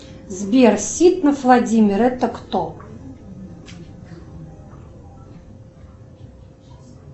сбер ситнов владимир это кто